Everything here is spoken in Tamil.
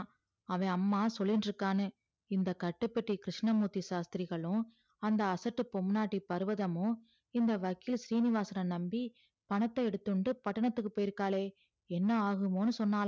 அவ அம்மா சொல்லிண்டு இருக்கான்னு இந்த கட்டுப்பட்டி கிருஸ்ணமூர்த்தி சாஸ்த்திரிகளும் அந்த அசட்டு பொம்னாட்டி பருவதமும் இந்த வக்கீல் சீனிவாசன் நம்பி பணத்த எடுந்துண்டு பட்டணத்துக்கு போயிருக்காலே என்ன ஆகுமோன்னு சொன்னால